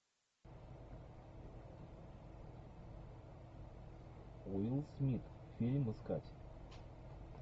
уилл смит фильм искать